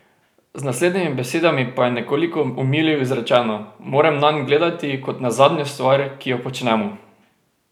Z naslednjimi besedami pa je nekoliko omilil izrečeno: "Moram nanj gledati kot na zadnjo stvar, ki jo počnemo.